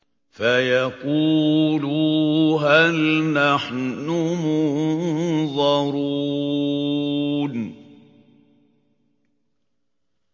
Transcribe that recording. فَيَقُولُوا هَلْ نَحْنُ مُنظَرُونَ